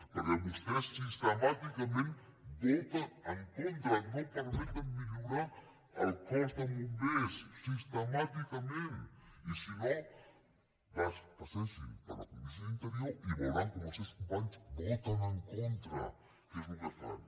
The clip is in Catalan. perquè vostès sistemàticament hi voten en contra no permeten millorar el cos de bombers sistemàticament i si no passegin per la comissió d’interior i veuran com els seus companys hi voten en contra que és el que fan